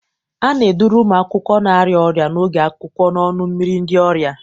A na-eduru ụmụ akwụkwọ na-arịa ọrịa n'oge akwụkwọ n'ọnụ mmiri ndị ọrịa.